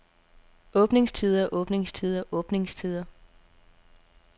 åbningstider åbningstider åbningstider